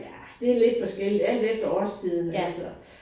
Ja det lidt forskelligt. Alt efter årstiden altså